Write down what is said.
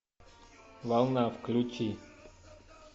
волна включи